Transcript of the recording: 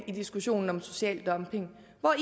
i diskussionen om social dumping hvor er